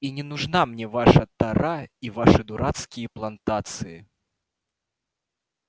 и не нужна мне ваша тара и ваши дурацкие плантации